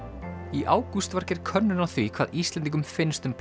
í ágúst var gerð könnun á því hvað Íslendingum finnst um